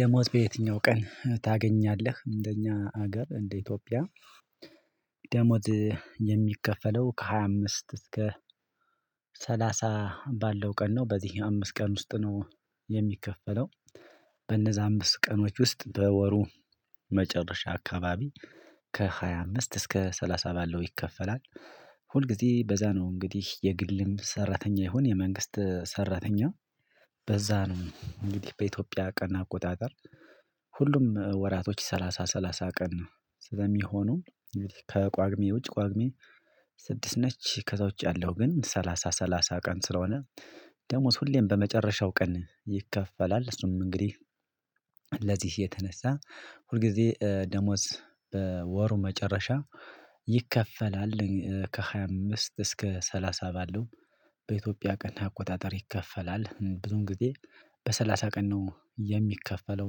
ደሞዝ በየትኛው ቀን ታገኛለህ እንደኛ ሀገር እንደ ኢትዮጵያ? የሚከፈለው ከሃያ አምስት እስከ ሰላሳ ባለው ቀን ነው በዚህ አምስት ቀን ውስጥ ነው የሚከፈለው በእነዛ አምስት ቀኖች ውስጥ በወሩ መጨረሻ አካባቢ ከሃያ አምስት እስከ ሰላሳ ባለው ይከፈላል። ሁልጊዜ በዛ ነው እንግዲህ የግልም ሰራተኛ ይሁን የመንግስት ሰራተኛ በዛ ነው እንግዲህ በኢትዮጵያ ቀን አቆጣጠር ሁሉም ወራቶች ሰላሳ ሰላሳ ቀን ነው። ስለሚሆነው እንግዲህ ከቋግሜ ውጭ ቋግሜ ስድስት ነች ከዛ ውጭ ያለው ግን ሰላሳ ሰላሳ ቀን ስለሆነ። ደሞዝ ሁሌም በመጨረሻው ቀን ይከፈላል እሱም እንግዲህ ለዚህ የተነሳ ሁልጊዜ ደሞዝ በወሩ መጨረሻ ይከፈላል። ከሃያ አምስት እስከ ሰላሳ ባለው በኢትዮጵያ ቀን አቆጣጠር ይከፈላል ብዙ ጊዜ በሰላሳ ቀን ነው የሚከፈለው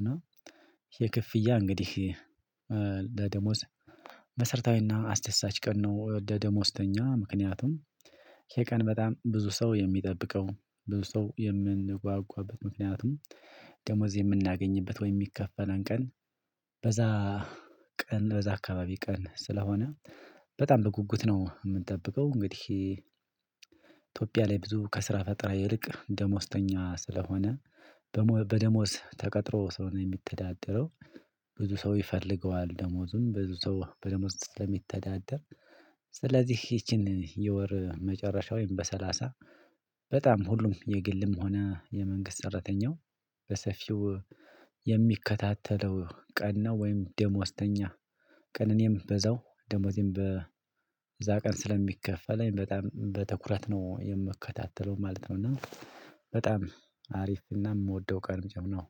እና የክፍያ እንግዲህ ለደሞዝ መሰረታዊና አስደሳች ቀን ነው። ለደሞዝተኛ ምክንያቱም ይሄ ቀን በጣም ብዙ ሰው የሚጠብቀው ብዙ ሰው የምንጓጓበት ምክንያቱም ደሞዝ የምናገኝበት ወይ የሚከፈለን ቀን በዛ ቀን በዛ አካባቢ ቀን ስለሆነ በጣም በጉጉት ነው የምንጠብቀው እንግዲህ። ኢትዮጵያ ላይ ብዙ ከስራ ፈጠራ ይልቅ ደሞዝተኛ ስለሆነ በደሞዝ ተቀጥሮ ሰለሆነ ነው የሚተዳደረው። ብዙ ሰው ይፈልገዋል ደሞዙኑ ብዙ ሰው በደሞዝ ስለሚተዳደር ስለዚህ ይቺን የወር መጨረሻውን በሰላሳ በጣም ሁሉም የግልም ሆነ የመንግስት ሰረተኛው በሰፊው የሚከታተለው ቀን ነው። ወይም ደሞዝተኛ ቀን እኔም በዛው ደሞዜን በዛ ቀን ስለሚከፈለኝ በጣም በትኩረት ነው የምከታተለው ማለት እና በጣም አሪፍ እና የምወደው ቀን ነው